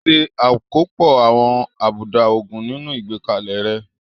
Ṣe àkópọ̀ àwọn àbùdá òògùn nínú ìgbékalẹ̀ rẹ.